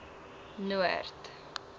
noord